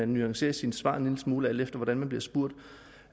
nuancerer sine svar en lille smule alt efter hvordan man bliver spurgt